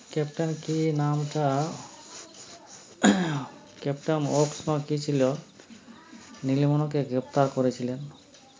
captain কি নামটা captain অক্স না কি ছিল নীলমণিকে গ্রেফতার করেছিলেন